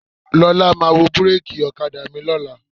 Lọ́la máa wo búréèkì ọ̀kadà mi lọ́la.